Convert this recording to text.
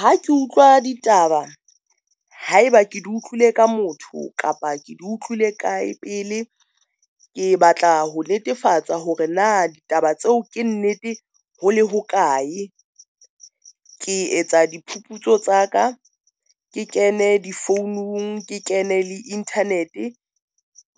Ha ke utlwa ditaba haeba ke di utlwile ka motho kapa ke di utlwile kae, pele ke batla ho netefatsa hore na ditaba tseo ke nnete hole hokae. Ke etsa diphuputso tsa ka ke kene di founung ke kene le internet